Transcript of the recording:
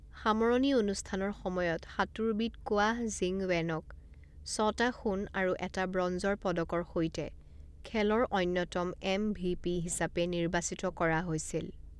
সামৰণি অনুষ্ঠানৰ সময়ত সাঁতোৰবিদ কোৱাহ জিং ৱেনক ছটা সোণ আৰু এটা ব্ৰঞ্জৰ পদকৰ সৈতে খেলৰ অন্যতম এমভিপি হিচাপে নিৰ্বাচিত কৰা হৈছিল।